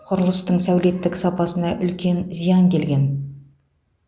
құрылыстың сәулеттік сапасына үлкен зиян келген